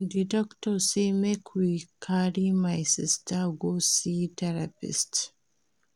Di doctor sey make we carry my sista go see therapist.